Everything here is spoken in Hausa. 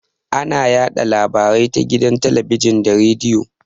Ana yaɗa labarai ta gidan talabijin da rediyo.